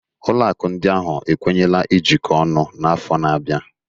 Ụlọ akụ ndị ahụ ekwenyela ijikọ ọnụ n'afọ na-abịa